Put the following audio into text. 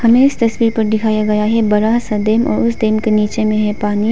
ये इस तस्वीर पर दिखाया गया है बड़ा सा दिन और उसे दिन के नीचे में है पानी।